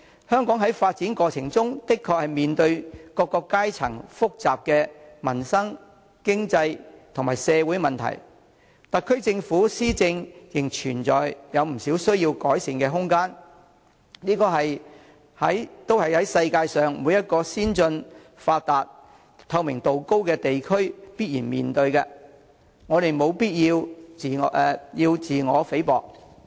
香港在發展過程中的確面對各階層複雜的民生、經濟及社會問題，特區政府施政仍有不少需要改善的空間，但這些都是世界上每個先進、發達、透明度高的地區必然面對的，我們無必要妄自菲薄。